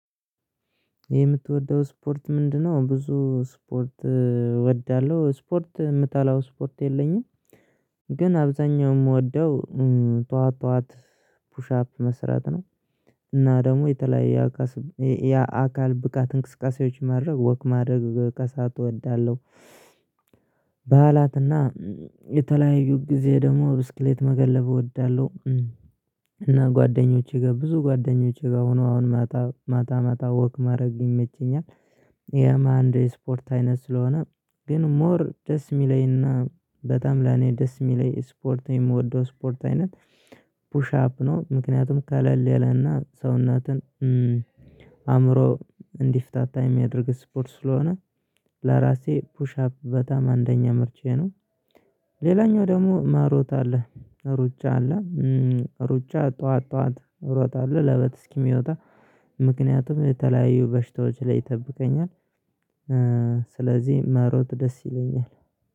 የምትወደው ስፖርት ምንድነው? ብዙ ስፖርት እወዳለሁ ስፖርት የምጠላው ስፖርት የለኝም። ግን አብዛኛው የምወደው ጠዋት ጠዋት ፑሽ አፕ መስራት ነው። እና ደግሞ የተለያየ ያ አካል ያ አካል ብቃት እንቅስቃሴዎች ማድረግ ወክ ማድረግ ከሳት እወዳለሁ። በዓላትና የተለያዩ ጊዜ ደግሞ ብስክሌት መገለብ እወዳለሁ። እና ጓደኞቼ ጋር ብዙ ጓደኞቼ ጋር ሆኖ አሁን ማታ ማታ ማታ ወክ ማድረግ ይመቸኛል። ያም አንድ የስፖርት አይነት ስለሆነ ግን ሞር ደስ የሚለኝና በጣም ለኔ ደስ የሚለኝ ስፖርት የምወደው ስፖርት አይነት። ፑሽ አፕ ነው። ምክንያቱም ከለሌ ለና ሰውነትና አእምሮ እንዲፈታታ የሚያደርግ ስፖርት ስለሆነ ለራሴ ፑሽ አፕ በጣም አንደኛ ምርጫዬ ነው። ሌላኛው ደግሞ ማሮጥ አለ። ሩጫ አለ። ሩጫ ጠዋት ጠዋት እሮጣለሁ ለበት እስኪ የሚወጣ ምክንያቱም የተለያዩ በሽታዎች ላይ ይጠብቀኛል። ስለዚህ መሮጥ ደስ ይለኛል